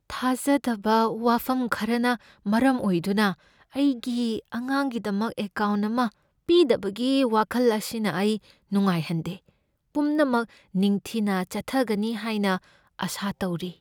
ꯊꯥꯖꯗꯕꯥ ꯋꯥꯐꯝ ꯈꯔꯅ ꯃꯔꯝ ꯑꯣꯏꯗꯨꯅ ꯑꯩꯒꯤ ꯑꯉꯥꯡꯒꯤꯗꯃꯛ ꯑꯦꯀꯥꯎꯟꯠ ꯑꯃꯥ ꯄꯤꯗꯕꯒꯤ ꯋꯥꯈꯜ ꯑꯁꯤꯅ ꯑꯩ ꯅꯨꯡꯉꯥꯏꯍꯟꯗꯦ, ꯄꯨꯝꯅꯃꯛ ꯅꯤꯡꯊꯤꯅ ꯆꯠꯊꯒꯅꯤ ꯍꯥꯏꯅ ꯑꯥꯁꯥ ꯇꯧꯔꯤ꯫